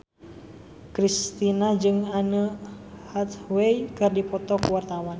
Kristina jeung Anne Hathaway keur dipoto ku wartawan